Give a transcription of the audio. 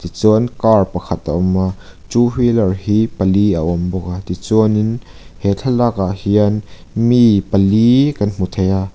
chuan car pakhat a awma two wheeler hi pali a awm bawk a tichuanin he thlalakah hian mi pali kan hmuh thei a.